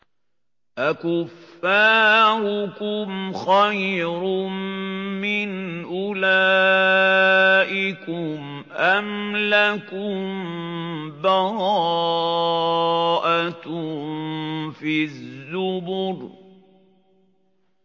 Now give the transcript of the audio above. أَكُفَّارُكُمْ خَيْرٌ مِّنْ أُولَٰئِكُمْ أَمْ لَكُم بَرَاءَةٌ فِي الزُّبُرِ